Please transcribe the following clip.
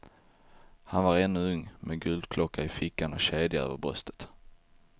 Han var ännu ung med guldklocka i fickan och kedja över bröstet.